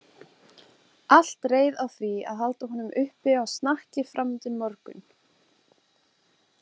Allt reið á því að halda honum uppi á snakki fram undir morgun.